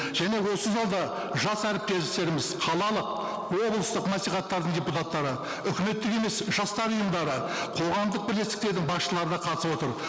және осы залда жас әріптестеріміз қалалық облыстық мәслихаттардың депутаттары үкіметтік емес жастар ұйымдары қоғамдық бірлестіктердің басшылары да қатысып отыр